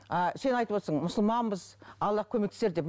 а сен айтып отырсың мұсылманбыз аллах көмектесер деп